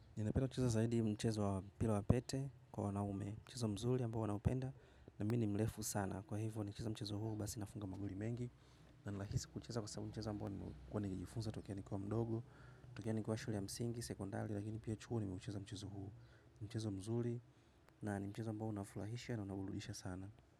Ninapenda kucheza zaidi mchezo wa mpira wa pete kwa wanaume, mchezo mzuri ambao huwa naupenda na mimi mrefu sana. Kwa hivyo nikicheza mchezo huo basi nafunga magoli mengi na ninahisi kuicheza kwa sababu ni mchezo ambao nimekuwa nikijifunza, tokea nikiwa mdogo, tokea nikuwa shule ya msingi, sekondari, lakini pia chuo nimeucheza mchezo huo. Ni mchezo mzuri na ni mchezo ambao unafurahisha na unaburudisha sana.